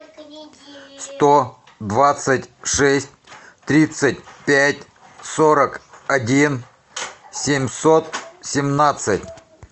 сто двадцать шесть тридцать пять сорок один семьсот семнадцать